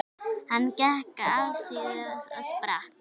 Hann gekk afsíðis og sprakk.